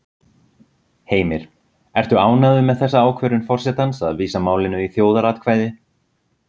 Heimir: Ertu ánægður með þessa ákvörðun forsetans að vísa málinu í þjóðaratkvæði?